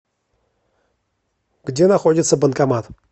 где находится банкомат